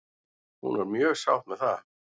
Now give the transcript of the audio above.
Hún var mjög sátt með það.